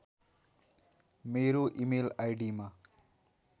मेरो इमेल आईडिमा